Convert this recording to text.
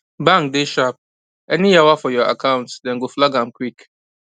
bank dey sharp any yawa for your account dem go flag am quick